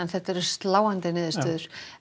þetta eru sláandi niðurstöður